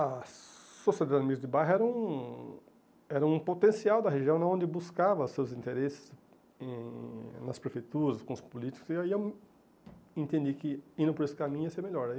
A Sociedade Amigos de Bairro era um era um potencial da região onde buscava seus interesses em nas prefeituras, com os políticos, e aí eu entendi que indo por esse caminho ia ser melhor.